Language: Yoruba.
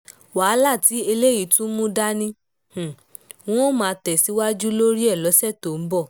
wàhálà tí eléyìí tún mú dání n óò máa tẹ̀ síwájú lórí ẹ̀ lọ́sẹ̀ tó ń bọ̀